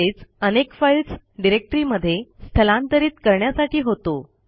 तसेच अनेक फाईल्स डिरेक्टरीमध्ये स्थलांतरित करण्यासाठी होतो